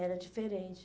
Era diferente.